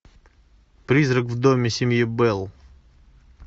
призрак в доме семьи белл